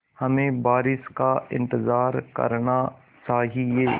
हमें बारिश का इंतज़ार करना चाहिए